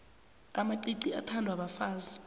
amacici athandwa bafazi